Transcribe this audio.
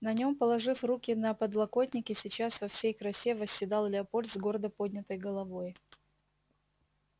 на нём положив руки на подлокотники сейчас во всей красе восседал леопольд с гордо поднятой головой